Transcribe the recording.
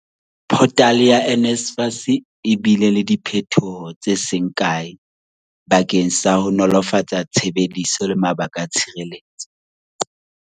Photale ya NSFAS e bile le diphethoho tse seng kae bakeng sa ho nolofatsa tshebediso le mabaka a tshireletso.